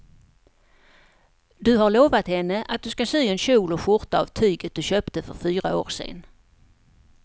Du har lovat henne att du ska sy en kjol och skjorta av tyget du köpte för fyra år sedan.